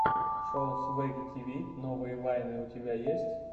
шоу свэгги тиви новые вайны у тебя есть